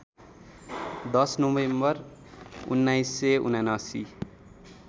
१० November १९७९